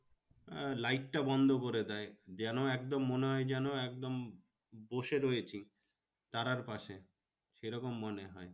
আহ light টা বন্ধ করে দেয়। যেন একদম মনে হয় যেন একদম বসে রয়েছি তারার পাশে। সে রকম মনে হয়।